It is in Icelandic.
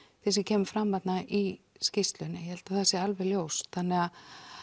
því sem kemur fram þarna í skýrslunni ég held að það sé alveg ljóst þannig